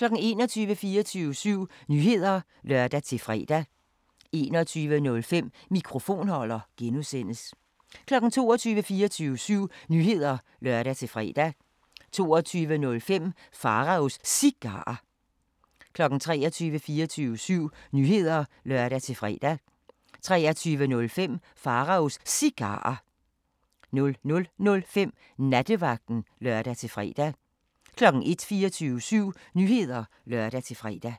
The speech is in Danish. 21:00: 24syv Nyheder (lør-fre) 21:05: Mikrofonholder (G) 22:00: 24syv Nyheder (lør-fre) 22:05: Pharaos Cigarer 23:00: 24syv Nyheder (lør-fre) 23:05: Pharaos Cigarer 00:05: Nattevagten (lør-fre) 01:00: 24syv Nyheder (lør-fre)